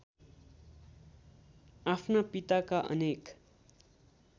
आफ्ना पिताका अनेक